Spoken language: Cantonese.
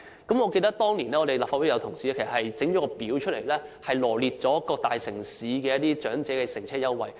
我記得有立法會議員當年製作了一幅圖表，臚列出各大城市的長者乘車優惠。